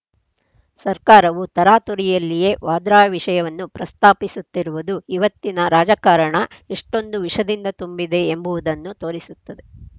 ಸರ್ಕಾರವು ತರಾತುರಿಯಲ್ಲಿಯೇ ವಾದ್ರಾ ವಿಷಯವನ್ನು ಪ್ರಸ್ತಾಪಿಸುತ್ತಿರುವುದು ಇವತ್ತಿನ ರಾಜಕಾರಣ ಎಷ್ಟೊಂದು ವಿಷದಿಂದ ತುಂಬಿದೆ ಎಂಬುವು ದನ್ನು ತೋರಿಸುತ್ತದೆ